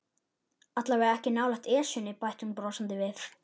Allavega ekki nálægt Esjunni bætti hún brosandi við.